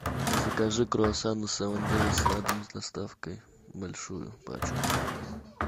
закажи круассаны севен дэйс на дом с доставкой большую пачку